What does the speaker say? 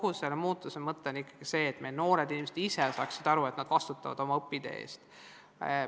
Kogu selle muutuse mõte on ikkagi see, et meie noored inimesed saaksid aru, et nad vastutavad oma õpitee eest.